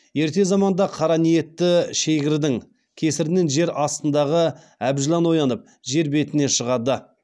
ерте заманда қара ниетті шегірдің кесірінен жер астындағы әбжылан оянып жер бетіне шығады